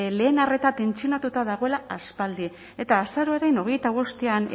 lehen arreta tentsionatuta dagoela aspaldi eta azaroaren hogeita bostean